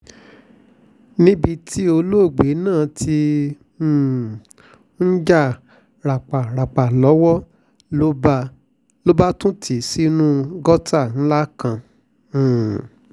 níbi tí olóògbé náà ti um ń jà rápáràpá lọ́wọ́ ló bá tún tì í sínú gọ́tà ńlá kan um